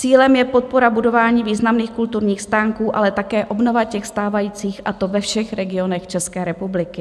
Cílem je podpora budování významných kulturních stánků, ale také obnova těch stávajících, a to ve všech regionech České republiky.